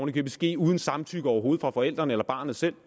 i købet ske uden samtykke overhovedet fra forældrene og barnet selv